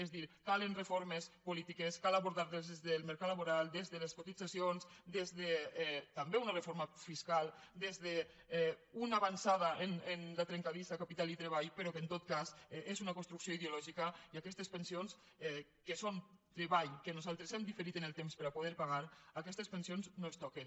és a dir calen reformes polítiques cal abordar des del mercat laboral des de les cotitzacions també una reforma fiscal des d’una avançada en la trencadissa capital i treball però que en tot cas és una construcció ideològica i aquestes pensions que són treball que nosaltres hem diferit en el temps per a poder pagar no es toquen